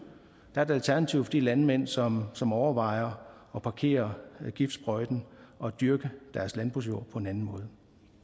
alternativ for de landmænd som som overvejer at parkere giftsprøjten og dyrke deres landbrugsjord på en anden måde